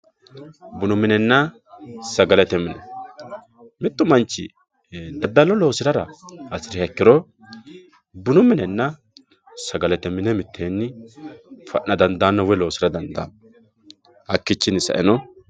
Buunu minenna sagalete mine mittu manchi daadalo loosirara haasiriha ikkiro buunu minenna sagalete mine mittenni fa'na daandanno woyi loosira daandanno haakichinni saeno